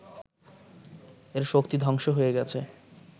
এর শক্তি ধ্বংস হয়ে গেছে